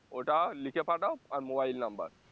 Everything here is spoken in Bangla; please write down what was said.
ওটা লিখে পাঠাও আর mobile number